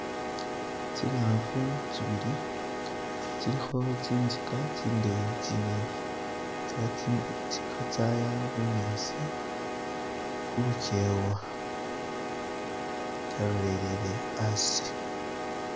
Tsingafu tsibili tsilikho tsi'nzika tsi'ndeyi tsingene , tsili kha tsaya bunyasi khulukhewa tsalolele asi.